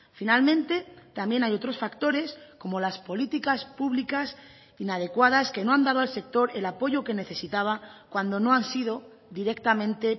finalmente también hay otros factores como las políticas públicas inadecuadas que no han dado al sector el apoyo que necesitaba cuando no han sido directamente